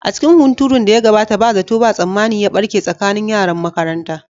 A cikin hunturun da ya gabata, ba zato ba tsammani ya barke tsakanin yaran makaranta.